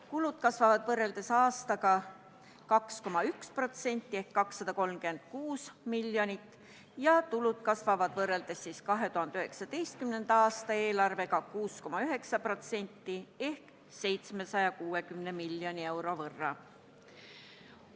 Kulud kasvavad võrreldes eelmise aastaga 2,1% ehk 236 miljonit ja tulud kasvavavad võrreldes 2019. aasta eelarvega 6,9% ehk 760 miljoni euro võrra.